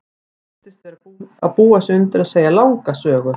Hún virtist vera að búa sig undir að segja langa sögu.